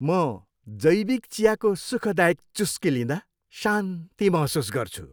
म जैविक चियाको सुखदायक चुस्की लिँदा शान्ति महसुस गर्छु।